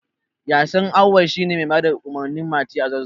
Yasin Auwal shi ne mai bada umarnin Mati a Zazzau.